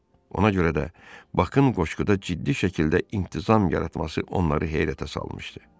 Ona görə də Bakın qoşquda ciddi şəkildə intizam yaratması onları heyrətə salmışdı.